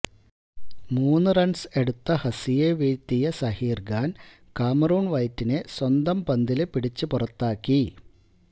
മൂന്ന് റണ്സ് എടുത്ത ഹസിയെ വീഴ്ത്തിയ സഹീര്ഖാന് കാമറൂണ് വൈറ്റിനെ സ്വന്തം പന്തില് പിടിച്ചുപുറത്താക്കി